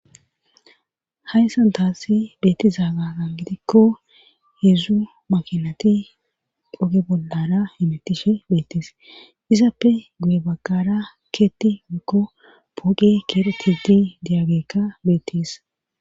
Haysan taassi beetizaaga gan gidikko hidzdzu makinati dhoge bollara emetishe beettis izappe guye baggara keetti mikko poqe keretidi diyagikka beettees.